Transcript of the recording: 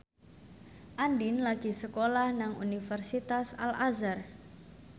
Andien lagi sekolah nang Universitas Al Azhar